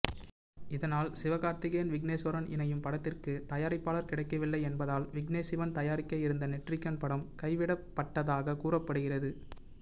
இதனால் சிவகார்த்திகேயன் விக்னேஸ்வரன் இணையும் படத்திற்கு தயாரிப்பாளர் கிடைக்கவில்லை என்பதால் விக்னேஷ்சிவன் தயாரிக்க இருந்த நெற்றிக்கண் படம் கைவிடப்பட்டதாக கூறப்படுகிறது